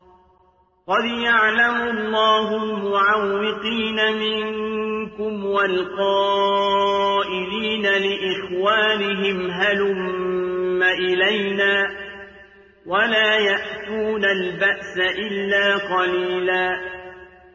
۞ قَدْ يَعْلَمُ اللَّهُ الْمُعَوِّقِينَ مِنكُمْ وَالْقَائِلِينَ لِإِخْوَانِهِمْ هَلُمَّ إِلَيْنَا ۖ وَلَا يَأْتُونَ الْبَأْسَ إِلَّا قَلِيلًا